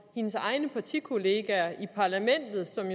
hendes egne partikollegaer i parlamentet som